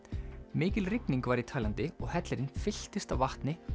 mikil rigning var í Taílandi svo hellirinn fylltist af vatni